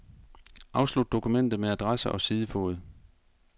Afslut dokumentet med adresse og sidefod.